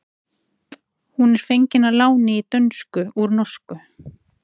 Hún er fengin að láni í dönsku úr norsku.